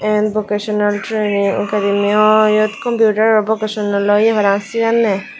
an vocational training gurineyo iyot computero vocational computero ye paraang siganne.